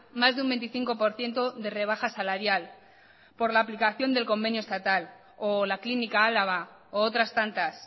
más de un veinticinco por ciento de rebaja salarial por la aplicación del convenio estatal o la clínica álava u otras tantas